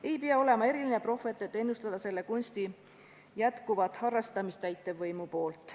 Ei pea olema eriline prohvet, et ennustada selle kunsti jätkuvat harrastamist täitevvõimu poolt.